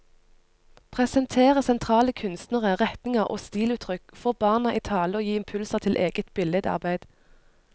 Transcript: Presentere sentrale kunstnere, retninger og stiluttrykk, få barna i tale og gi impulser til eget billedarbeid.